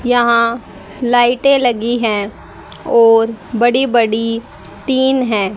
यहां लाइटे लगी है और बड़ी बड़ी टीन है।